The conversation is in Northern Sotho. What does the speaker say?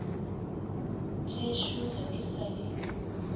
tšešo ga ke sa di